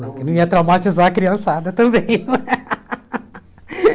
Não que eu não ia traumatizar a criançada também.